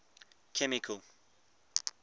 chemical